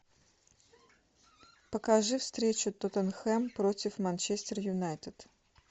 покажи встречу тоттенхэм против манчестер юнайтед